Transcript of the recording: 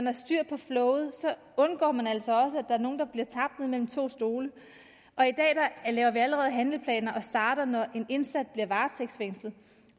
er styr på flowet så undgår man altså er nogle der bliver tabt mellem to stole og i dag laver vi allerede handleplaner og starter når en indsat bliver varetægtsfængslet